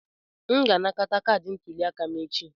M ga-anakọta kaadị ndị ntuli aka m echi.